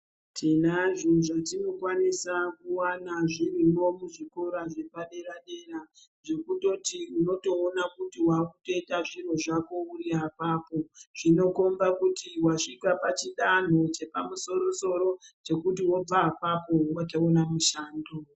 Tinazvo zvatinokwanisa kuwana zviriyo kuzvikora zvepadera-dera, zvekutoti unotoona kuti wakutoyita zvinhu zvako kumba kwako, zvinokomba kuti wasvika pachidanho chepamusoro-soro chekuti wobva apapo unotoona mushando.